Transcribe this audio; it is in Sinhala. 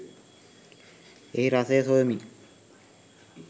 එහි රසය සොයමි